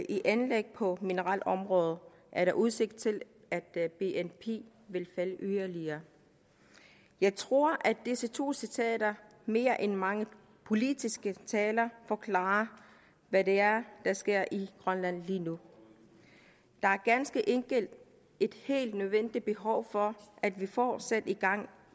i anlæg på mineralområdet er der udsigt til at bnp vil falde yderligere jeg tror at disse to citater mere end mange politiske taler forklarer hvad det er der sker i grønland lige nu der er ganske enkelt et helt nødvendigt behov for at vi får sat gang